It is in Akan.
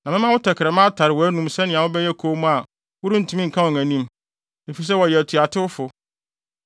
Na mɛma wo tɛkrɛma atare wʼanom sɛnea wobɛyɛ komm a worentumi nka wɔn anim, efisɛ wɔyɛ atuatewfo.